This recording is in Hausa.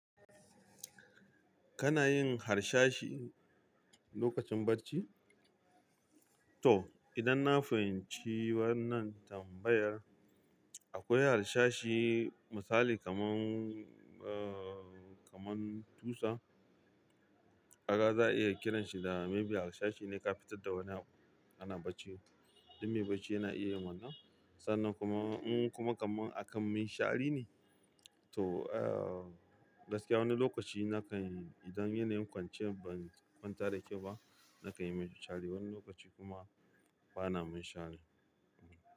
Kana yin harshashi lokacin barci? To, idan na fahimci wannan tambayar, akwai harshashi misali kaman, uh, kaman tusa, kaga za a iya kiranshi da maybe harsashi ne ka fitar da wani abu ana bacci. Duk mai bacci yana iya yin wannan. Sannan kuma, in kuma kaman a kan munshari ne. To, uh, gaskiya wani lokaci na kan, idan yana yin kwanciyar ban kwantar da kyau ba, na kayi munshari. Wani lokaci kuma bana munshari.